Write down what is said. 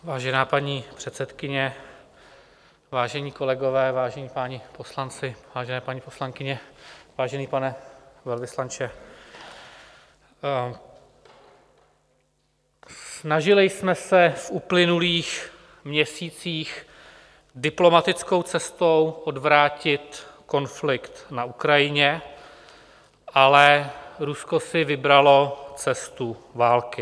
Vážená paní předsedkyně, vážení kolegové, vážení páni poslanci, vážené paní poslankyně, vážený pane velvyslanče, snažili jsme se v uplynulých měsících diplomatickou cestou odvrátit konflikt na Ukrajině, ale Rusko si vybralo cestu války.